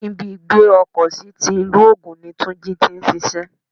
Ibi ìgbé ọkọ̀ sí ti ilu ogún ní Túnjí tí ń ṣíṣe.